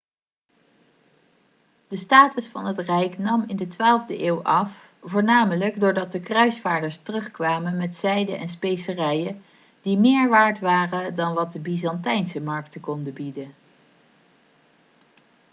de status van het rijk nam in de 12e eeuw af voornamelijk doordat de kruisvaarders terugkwamen met zijde en specerijen die meer waard waren dan wat de byzantijnse markten konden bieden